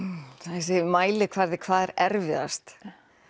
þessi mælikvarði hvað er erfiðast